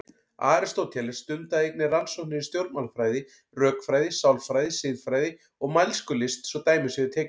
Aristóteles stundaði einnig rannsóknir í stjórnmálafræði, rökfræði, sálfræði, siðfræði og mælskulist svo dæmi séu tekin.